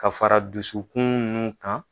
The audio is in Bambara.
Ka fara dusu kun nun kan.